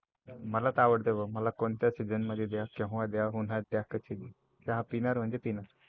मला तर आवडते बाबा, मला कोणत्या Season मध्ये द्या केव्हा द्या उन्हात द्या कधी पण चहा पिणार म्हणजे पिणार.